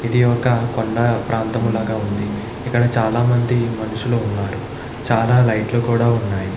ఇది ఒక కొండ ప్రాంతం లాగా వుంది ఇక్కడ చాల మంది మనుషులు వున్నారు చాల లైట్ లు కూడా ఉన్నాయి.